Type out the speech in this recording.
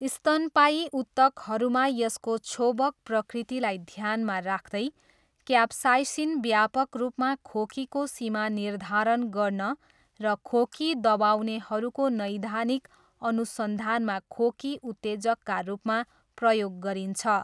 स्तनपायी ऊतकहरूमा यसको क्षोभक प्रकृतिलाई ध्यानमा राख्दै, क्याप्साइसिन व्यापक रूपमा खोकीको सीमा निर्धारण गर्न र खोकी दबाउनेहरूको नैदानिक अनुसन्धानमा खोकी उत्तेजकका रूपमा प्रयोग गरिन्छ।